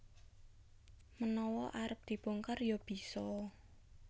Menawa arep dibongkar ya bisa